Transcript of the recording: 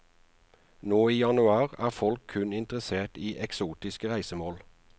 Nå i januar er folk kun interessert i eksotiske reisemål.